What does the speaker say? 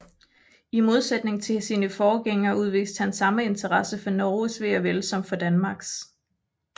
I modsætning til sine forgængere udviste han samme interesse for Norges ve og vel som for Danmarks